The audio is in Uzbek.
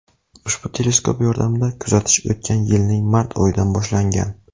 Ushbu teleskop yordamida kuzatish o‘tgan yilning mart oyidan boshlangan.